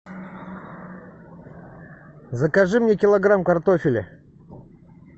закажи мне килограмм картофеля